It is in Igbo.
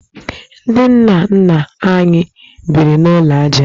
Ndị nna nna anyị biri n'ụlọ ajá